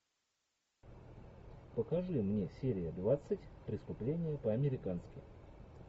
покажи мне серия двадцать преступление по американски